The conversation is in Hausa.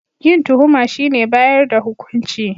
Yin tuhuma shine bayar da hukunci